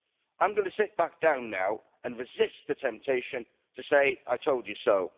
I'm going to sit back down now and resist the temptation to say I told you so.